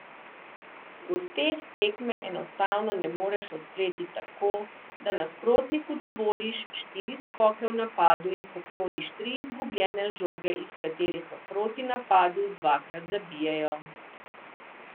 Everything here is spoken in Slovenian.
V gosteh tekme enostavno ne moreš odpreti tako, da nasprotniku dovoliš štiri skoke v napadu in pokloniš tri izgubljene žoge iz katerih v protinapadu dvakrat zabijajo.